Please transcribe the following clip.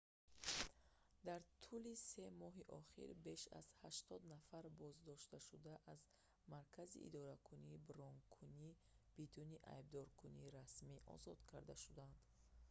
дар тӯли 3 моҳи ахир беш аз 80 нафар боздоштшуда аз маркази идораки бронкунӣ бидуни айбдоркунии расмӣ озод карда шуданд